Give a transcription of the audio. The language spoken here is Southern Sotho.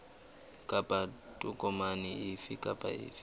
kapa tokomane efe kapa efe